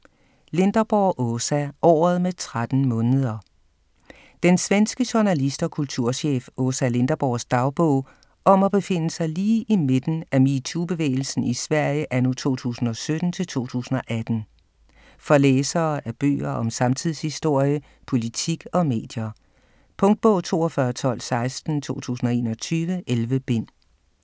Linderborg, Åsa: Året med 13 måneder Den svenske journalist og kulturchef Åsa Linderborgs dagbog om at befinde sig lige i midten af metoo-bevægelsen i Sverige anno 2017-2018. For læsere af bøger om samtidshistorie, politik og medier. Punktbog 421216 2021. 11 bind.